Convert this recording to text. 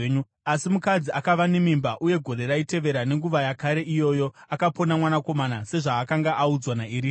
Asi mukadzi akava nemimba, uye gore raitevera nenguva yakare iyoyo akapona mwanakomana, sezvaakanga audzwa naErisha.